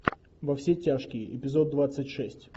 во все тяжкие эпизод двадцать шесть